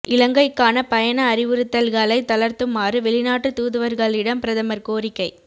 இலங்கைக்கான பயண அறிவுறுத்தல்களை தளர்த்துமாறு வெளிநாட்டு தூதுவர்களிடம் பிரதமர் கோரிக்கை